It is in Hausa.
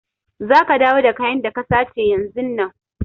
Za ka dawo da kayan da ka sace yanzun nan!